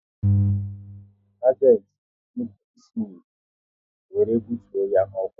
Sagenti nupụrụ isi n'iwu, e were bụtuo ya n'ọkwá